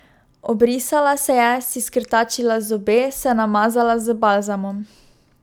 Obrisala se je, si skrtačila zobe, se namazala z balzamom.